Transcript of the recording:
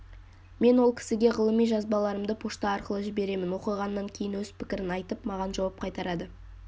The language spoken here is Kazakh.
мен ол кісіге ғылыми жазбаларымды пошта арқылы жіберемін оқығаннан кейін өз пікірін айтып маған жауап қайтарады